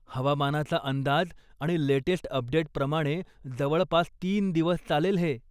हवामानाचा अंदाज आणि लेटेस्ट अपडेटप्रमाणे, जवळपास तीन दिवस चालेल हे.